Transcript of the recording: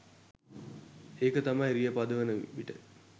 ඒක තමයි රිය පදවන විට